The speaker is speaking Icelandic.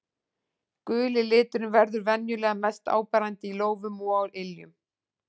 Guli liturinn verður venjulega mest áberandi í lófum og á iljum.